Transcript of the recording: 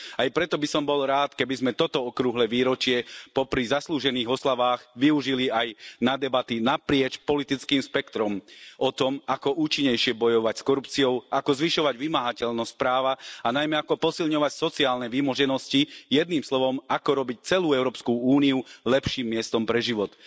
Aj preto by som bol rád, keby sme toto okrúhle výročie popri zaslúžených oslavách využili aj na debaty naprieč politickým spektrom o tom, ako účinnejšie bojovať s korupciou, ako zvyšovať vymáhateľnosť práva, a najmä ako posilňovať sociálne vymoženosti, jedným slovom, ako robiť celú Európsku úniu lepším miestom pre život.